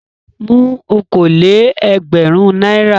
Mú okòó-lé-ẹgbẹ̀rún náírà!